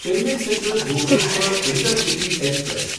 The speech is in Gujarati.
Chennai Central Bhubaneswar intercity express